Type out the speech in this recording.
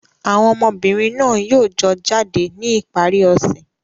Àwọn ọmọbìnrin náà yóò jọ jáde ní ìparí ọ̀sẹ̀.